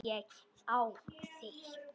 Ég á þig.